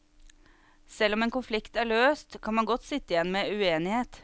Selv om en konflikt er løst, kan man godt sitte igjen med uenighet.